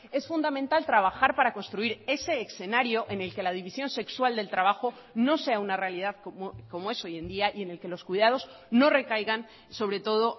es fundamental trabajar para construir ese escenario en el que la división sexual del trabajo no sea una realidad como es hoy en día y en el que los cuidados no recaigan sobre todo